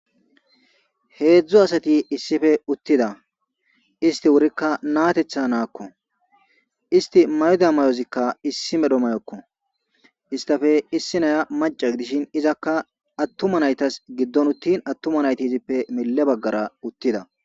heedzdzu asati issife uttida isti wurikka natetha naakko isti mayoda mayozikka issi medho mayokko istafe issi naya maca gidishin izakka attuma naytas giddon uttin attuma nayti izippe melle baggara uttida